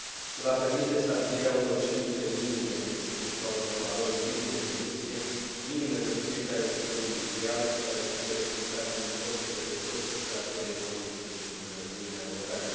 Se va permite stabilirea unor cerințe minime, respectiv a unor valori limită de emisie, minime pentru fiecare sector industrial, care să fie respectate uniform de către toți operatorii economici din Uniunea Europeană.